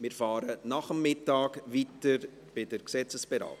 Wir fahren nach dem Mittag mit der Gesetzesberatung weiter.